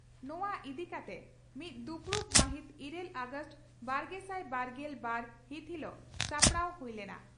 ᱱᱚᱣᱟ ᱤᱫᱤ ᱠᱟᱛᱮ ᱢᱤᱫ ᱫᱩᱯᱲᱩᱵ ᱢᱟᱹᱦᱤᱛ ᱤᱨᱟᱹᱞ ᱚᱜᱟᱥᱴ ᱵᱟᱨᱜᱮᱥᱟᱭ ᱵᱟᱨᱜᱮᱞ ᱵᱟᱨ ᱦᱤᱛ ᱦᱤᱞᱚᱜ ᱥᱟᱯᱲᱟᱣ ᱦᱩᱭ ᱞᱮᱱᱟ ᱾